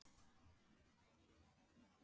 Hvar er umfjöllunin?